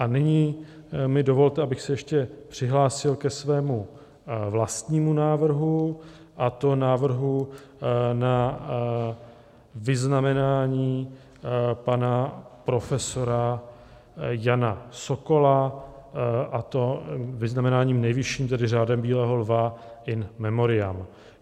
A nyní mi dovolte, abych se ještě přihlásil ke svému vlastnímu návrhu, a to návrhu na vyznamenání pana profesora Jana Sokola, a to vyznamenáním nejvyšším, tedy Řádem bílého lva in memoriam.